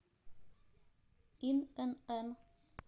инн